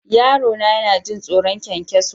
Yarona yana jin tsoron ƙwanƙwaso.